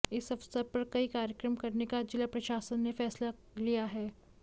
इस अवसर पर कई कार्यक्रम करने का जिला प्रशासन ने फैसला लिया है